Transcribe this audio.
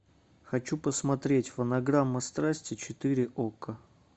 хочу посмотреть фонограмма страсти четыре окко